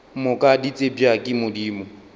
moka di tsebja ke modimo